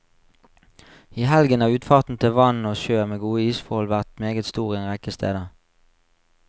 I helgen har utfarten til vann og sjø med gode isforhold vært meget stor en rekke steder.